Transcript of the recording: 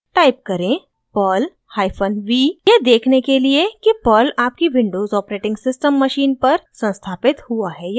type करें: perl hyphen v यह देखने के लिए कि पर्ल आपकी विंडोज़ os मशीन पर संस्थापित हुआ है या नहीं